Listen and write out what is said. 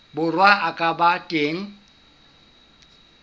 borwa a ka ba teng